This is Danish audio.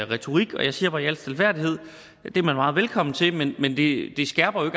retorik og jeg siger bare i al stilfærdighed at det er man meget velkommen til men men det skærper jo